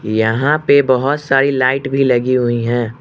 यहां पे बहोत सारी लाइट भी लगी हुई है।